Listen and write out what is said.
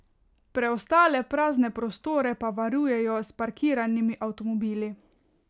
Preostale prazne prostore pa varujejo s parkiranimi avtomobili.